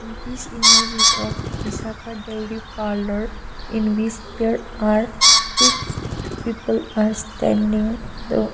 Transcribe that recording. this image is of vishakha dairy parlour in which there are six people are standing the --